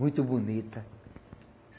Muito bonita.